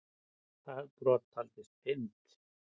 Það brot taldist fyrnt.